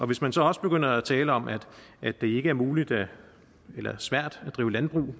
hvis man så også begynder at tale om at det ikke er muligt eller svært at drive landbrug